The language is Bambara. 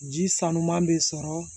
Ji sanuman bɛ sɔrɔ